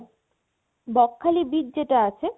Bakkhali beach যেটা আছে